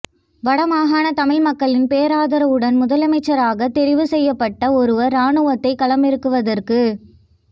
வடமாகாண தமிழ் மக்களின் பேராதரவுடன் முதலமைச்சராகத் தெரிவு செய்யப்பட்ட ஒருவர் இராணுவத்தை களமிறக்குவதற்குச்